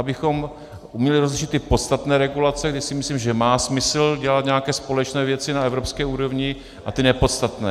Abychom uměli rozlišit ty podstatné regulace, kdy si myslím, že má smysl dělat nějaké společné věci na evropské úrovni, a ty nepodstatné.